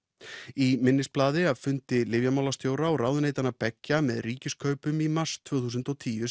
í minnisblaði af fundi lyfjamálastjóra og ráðuneytanna beggja með Ríkiskaupum í mars tvö þúsund og tíu